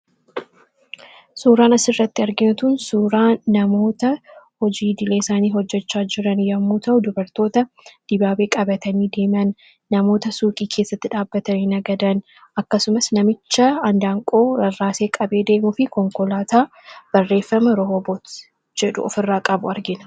suuraan asirratti argintan suuraa namoota hojii dileesaanii hojjechaa jiran yommuu ta'uu dubartoota dibaabee qabatanii diimaan namoota suuqii keessatti dhaabbatanii agadan akkasumas namicha andaanqoo rarraasee qabee deemuufi konkolaataa barreeffama rohoboot jedhu of irraa qabu argina.